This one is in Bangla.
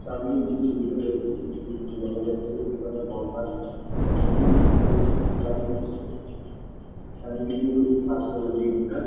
সামনে যে ছবিটা রয়েছে সেই ছবিতে দেখা যাচ্ছে দুখানা লম্বা নদীর মধ্যে স্নান করছে। চারিদিকে গাছপালা দিয়ে ঘেরা।